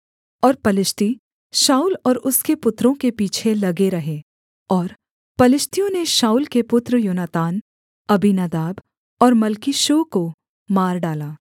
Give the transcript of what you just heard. और पलिश्ती शाऊल और उसके पुत्रों के पीछे लगे रहे और पलिश्तियों ने शाऊल के पुत्र योनातान अबीनादाब और मल्कीशूअ को मार डाला